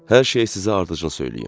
Hər şeyi sizə ardıcıl söyləyim.